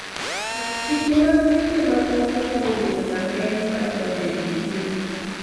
Chike mag pinje mamoko nyalo bedo rageng' mar donjo e chiro